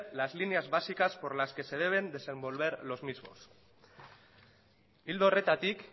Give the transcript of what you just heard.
las líneas básicas por las que se deben desenvolver los mismos ildo horretatik